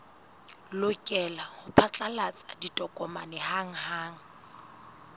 lokela ho phatlalatsa ditokomane hanghang